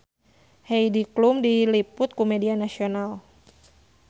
Heidi Klum diliput ku media nasional